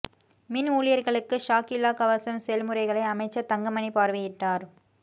மின் ஊழியர்களுக்கு ஷாக் இல்லா கவசம் செயல்முறைகளை அமைச்சர் தங்கமணி பார்வையிட்டார்